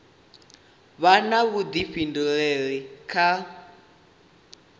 vha na vhuḓifhinduleli kha u